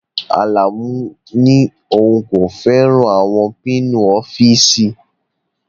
Alamu ní òun kò fẹ́ràn àwọn pinni ọ́fíìsì